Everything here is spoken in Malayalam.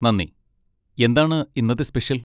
നന്ദി. എന്താണ് ഇന്നത്തെ സ്പെഷ്യൽ?